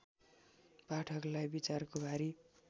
पाठकलाई विचारको भारी